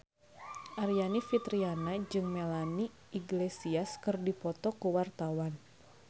Aryani Fitriana jeung Melanie Iglesias keur dipoto ku wartawan